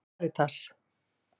Karítas